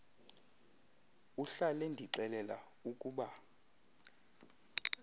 uhlal endixelel ukuba